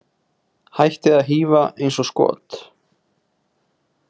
Hættið að hífa eins og skot.